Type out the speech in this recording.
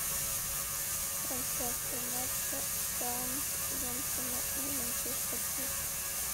трансляция матча саутгемптона и манчестер сити